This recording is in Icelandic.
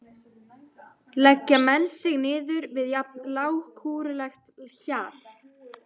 Leggja menn sig niður við jafn lágkúrulegt hjal?